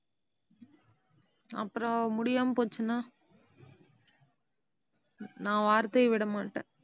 அப்புறம், முடியாம போச்சுன்னா நான் வார்த்தையை விட மாட்டேன்.